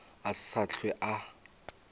a se sa hlwe a